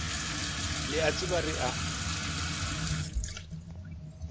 le a itseba re a